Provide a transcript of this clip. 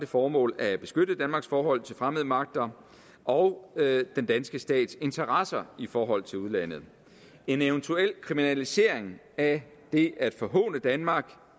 formål at beskytte danmarks forhold til fremmede magter og den danske stats interesser i forhold til udlandet en eventuel kriminalisering af det at forhåne danmark